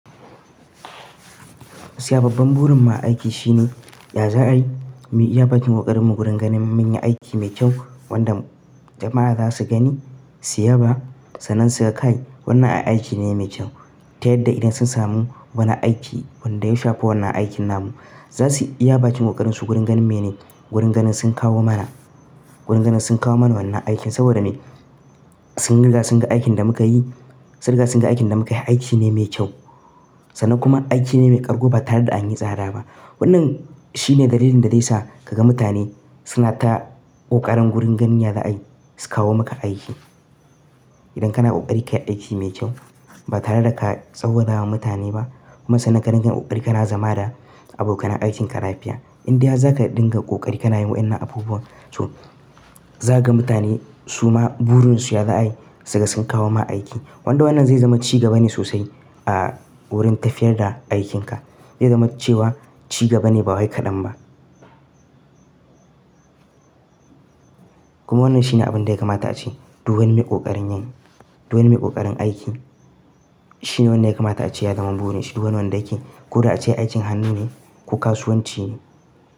Siya babban burin mu a aiki shine ya za'ai mu iya bakin ƙoƙarinmu gurin ganin mun yi aiki mai kyau wanda jama'a za su gani su yaba. Sannan su ga kai wannan ai aiki ne mai kyau, ta yadda idan sun samu wani aiki wanda ya shafa wannan aikin namu za su iya bakin ƙoƙarin su gurin ganin mene gurin ganin sun kawo mana. Gurin ganin sun kawo mana wannan aikin saboda ne sun riga sun ga aikin da muka yi. Sun riga sun ga aikin da muka yi ai aiki ne mai kyau. Sannan kuma aiki ne mai ƙarƙo ba tare da an yi tsada ba. Wannan shine dalilin da zai sa ka ga mutane suna ta ƙoƙarin gurin ganin ya za'ai su kawo maka aiki. Idan kana ƙoƙari ka yi aiki mai kyau ba tare da ka tsawada wa mutane ba. Kuma sannan ka dinga ƙoƙari ka na zama da abokanan aikinka lafiya. In dai har za ka dinga ƙoƙari ka na yin wa'innan abubuwan, so za ka ga mutane suma burinsu ya za'ai sai ka gan sun kawo ma aiki. Wanda wannan zai zama cigaba ne sosai a wurin tafiyar da aikinka. Zai zama cewa cigaba ne ba wai kaɗan ba. Kuma wannan shi ne abin da ya kamata a ce duk wani mai ƙoƙarin yin. Duk wani mai ƙoƙarin aiki. Shi ne wanda ya kamata a ce ya zama burin shi. Duk wanda yake ko da a ce aikin hannu ne ko kasuwanci ne.